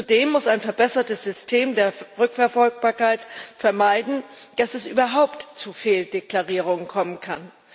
Zudem muss ein verbessertes System der Rückverfolgbarkeit vermeiden, dass es überhaupt zu Fehldeklarierungen kommen kann.